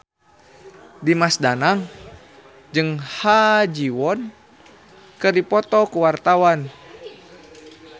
Dimas Danang jeung Ha Ji Won keur dipoto ku wartawan